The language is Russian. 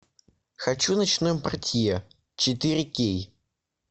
хочу ночной портье четыре кей